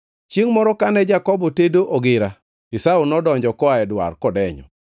Chiengʼ moro kane Jakobo tedo ogira, Esau nodonjo koa e dwar kodenyo.